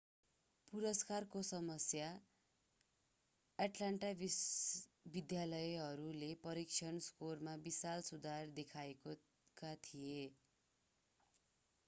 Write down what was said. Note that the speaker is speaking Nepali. पुरस्कारको समयमा एट्लान्टा विद्यालयहरूले परीक्षण स्कोरमा विशाल सुधार देखेका थिए